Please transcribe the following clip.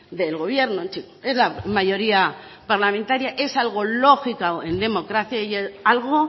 del gobierno es la mayoría parlamentaria es algo lógico en democracia y algo